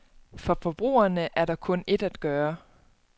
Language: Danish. For forbrugerne er der kun et at gøre.